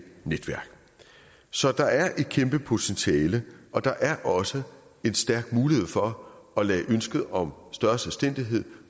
netværk så der er et kæmpe potentiale og der er også en stærk mulighed for at lade ønsket om større selvstændighed